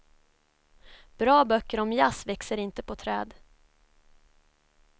Bra böcker om jazz växer inte på träd.